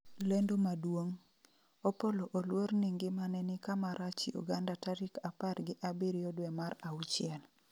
lendo maduong' : Opollo oluor ni ngimane ni kama rach Uganda tarik apar gi abiriyo dwe mar achiel